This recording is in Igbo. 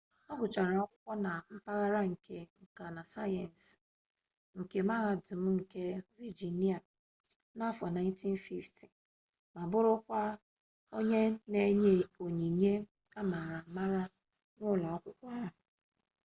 ọ gụchara akwụkwọ na mpaghara nke nka na sayensị nke mahadum nke vejinia n'afo 1950 ma bụrụkwa onye na enye onyinye ama ama n'ụlọ akwụkwọ ahụ